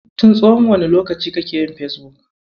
Tin tsawon wane lokaci kake yin Fesbuk.